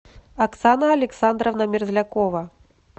оксана александровна мерзлякова